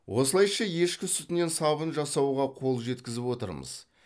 осылайша ешкі сүтінен сабын жасауға қол жеткізіп отырмыз